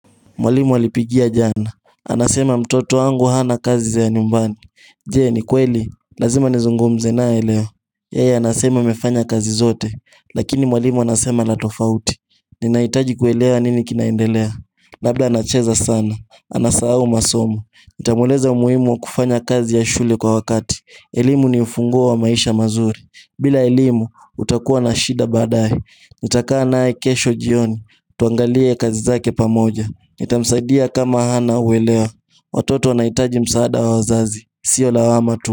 Mwalimu walinipigia jana, anasema mtoto wangu hana kazi za nyumbani Jee ni kweli, lazima nizungumze naye leo Yeye anasema amefanya kazi zote, lakini mwalimu anasema la tofauti Ninaitaji kuelewa nini kinaendelea labla anacheza sana, anasahau masomo nitamueleza umuhimu kufanya kazi ya shule kwa wakati elimu ni ufunguo wa maisha mazuri bila elimu, utakuwa na shida baadae Itakaa nae kesho jioni, tuangalie kazi zake pamoja nitamsaidia kama hana uwelea Watoto wanaitaji msaada wa wazazi Sio lawama tu.